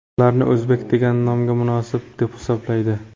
Ularni o‘zbek degan nomga nomunosib deb hisoblaydi.